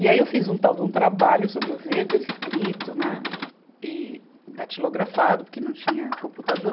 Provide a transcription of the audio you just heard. E aí eu fiz um tal de um trabalho sobre o Weber escrito, né e datilografado, porque não tinha computador.